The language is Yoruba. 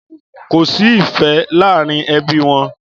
Kòsí ìfẹ làárin ẹbi wọn.